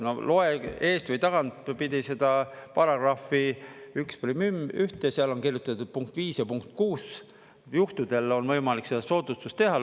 No loe eest- või tagantpidi seda § 11, seal on kirjutatud punkt 5 ja punkt 6, juhtudel on võimalik seda soodustust teha.